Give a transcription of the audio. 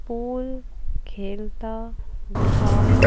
pool खेलता दिखाई--